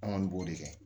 An kɔni b'o de kɛ